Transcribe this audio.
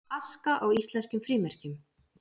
Aska á íslenskum frímerkjum